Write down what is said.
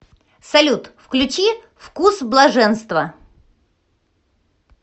салют включи вкус блаженства